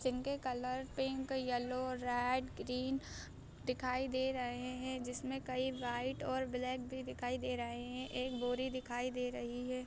जिनके colour pink yellow red green दिखाई दे रहे है | जिसमे कई वाइट और ब्लैक भी दिखाई दे रहे है |एक बोरी भी दिखाई दे रही है।